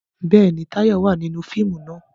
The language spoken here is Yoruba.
Bẹ́ẹ̀ni, Táyọ̀ wà nínú fíìmù náà